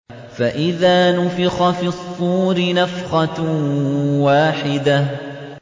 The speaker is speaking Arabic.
فَإِذَا نُفِخَ فِي الصُّورِ نَفْخَةٌ وَاحِدَةٌ